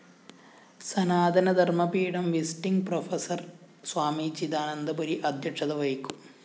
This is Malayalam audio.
സനാതനധര്‍മ്മ പീഠം വിസിറ്റിങ്‌ പ്രൊഫസർ സ്വാമി ചിദാനന്ദപുരി അദ്ധ്യക്ഷത വഹിക്കും